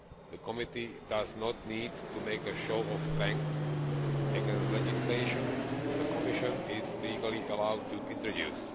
The committee does not need to make a show of strength against legislation the Commission is legally allowed to introduce.